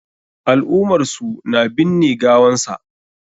Al'umar su na binne gawan sa.